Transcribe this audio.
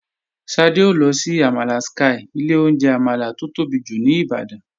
Ṣadé ó lọ sí àmàlà Sky, ilé oúnjẹ àmàlà tó tóbi jù ní Ìbàdàn.